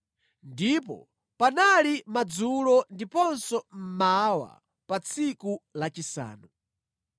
Ndipo panali madzulo ndiponso mmawa pa tsiku lachisanu.